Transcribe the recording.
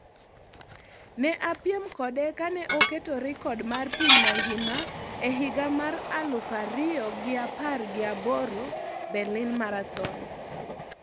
Ne apiem kode kane oketo rekod mar piny mangima e higa mar aluf ariyo gi apar gi aboro Berlin Marathon